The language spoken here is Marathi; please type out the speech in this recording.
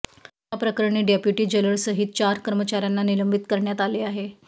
याप्रकरणी डेप्युटी जेलरसहीत चार कर्मचाऱ्यांना निलंबित करण्यात आले आहे